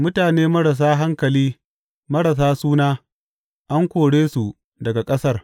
Mutane marasa hankali marasa suna, an kore su daga ƙasar.